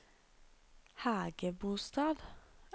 Hægebostad